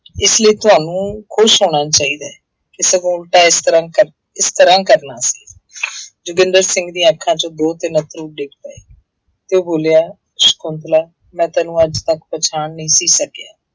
ਇਸ ਲਈ ਤੁਹਾਨੂੰ ਖ਼ੁਸ਼ ਹੋਣਾ ਚਾਹੀਦਾ ਹੈ ਕਿ ਸਗੋਂ ਉਲਟਾ ਇਸ ਤਰ੍ਹਾਂ ਕਰ ਇਸ ਤਰ੍ਹਾਂ ਕਰਨਾ ਸੀ ਜੋਗਿੰਦਰ ਸਿੰਘ ਦੀਆਂ ਅੱਖਾਂ ਚੋਂ ਦੋ ਤਿੰਨ ਅੱਥਰੂ ਡਿੱਗ ਪਏ ਤੇ ਉਹ ਬੋਲਿਆ ਸਕੁੰਤਲਾ ਮੈਂ ਤੈਨੂੰ ਅੱਜ ਤੱਕ ਪਛਾਣ ਨਹੀਂ ਸੀ ਸਕਿਆ।